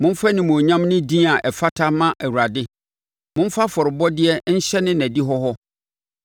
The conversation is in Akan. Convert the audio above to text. Momfa animuonyam ne din a ɛfata mma Awurade; momfa afɔrebɔdeɛ nhyɛne nʼadihɔ hɔ.